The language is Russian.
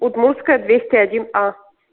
удмуртская двести один а